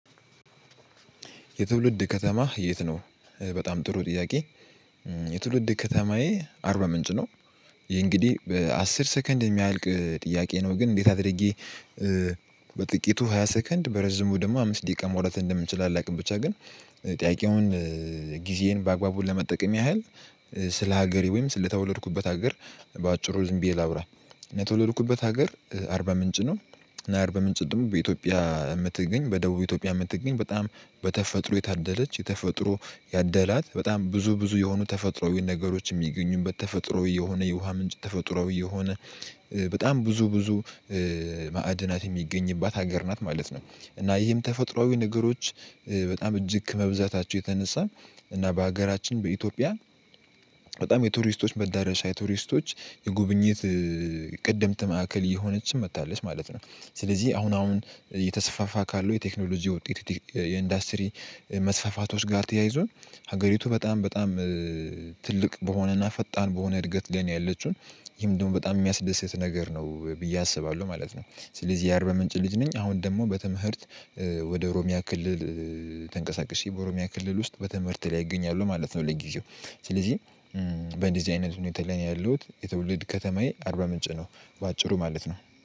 የትውልድ ከተማህ የት ነው? በጣም ጥሩ ጥያቄ። የትውልድ ከተማዬ አርባ ምንጭ ነው። ይሄ እንግዲህ በአስር ሰከንድ የሚያልቅ ጥያቄ ነው ግን እንዴት አድርጌ። በጥቂቱ ሃያ ሰከንድ በረዥሙ ደግሞ አምስት ደቂቃ ማውራት እንደምንችል አላውቅም። ብቻ ግን ጥያቄውን ጊዜን በአግባቡ ለመጠቀም ያህል ስለ ሀገሬ ወይም ስለ ተወለድኩበት ሀገር በአጭሩ ዝም ብዬ ላውራ። የተወለድኩበት ሀገር አርባ ምንጭ ነው። እና አርባ ምንጭ ደግሞ በኢትዮጵያ የምትገኝ በደቡብ ኢትዮጵያ የምትገኝ በጣም በተፈጥሮ የታደለች የተፈጥሮ ያደላት በጣም ብዙ ብዙ የሆኑ ተፈጥሮዊ ነገሮች የሚገኙበት ተፈጥሮዊ የሆነ የውሃ ምንጭ ተፈጥሮ የሆነ በጣም ብዙ ብዙ ማዕድናት የሚገኝባት ሀገር ናት ማለት ነው። እና ይህም ተፈጥሮአዊ ነገሮች በጣም እጅግ ከመብዛታቸው የተነሳን እና በሀገራችን በኢትዮጵያ በጣም የቱሪስቶች መዳረሻ የቱሪስቶች የጉብኝት ቀድምት ማዕከል እየሆነችም መታለች ማለት ነው። ስለዚህ አሁን አሁን የተሰፋፋ ካለው የቴክኖሎጂ ውጤት የኢንዱስትሪ መስፋፋቶች ጋር ተያይዞን ሀገሪቱ በጣም በጣም ትልቅ በሆነና ፈጣን በሆነ እድገት ለኔ ያለችውን ይህም ደግሞ በጣም የሚያስደስት ነገር ነው ብዬ አስባለሁ ማለት ነው። ስለዚህ የአርባ ምንጭ ልጅ ነኝ። አሁን ደግሞ በትምህርት ወደ ኦሮሚያ ክልል ተንቀሳቅሼ በኦሮሚያ ክልል ውስጥ በትምህርት ላይ እገኛሉ ማለት ነው። ለግዜው ስለዚህ በእንደዚህ አይነት ሁኔታ ላይ ነው ያለሁት። የትውልድ ከተማዬ አርባ ምንጭ ነው በአጭሩ ማለት ነው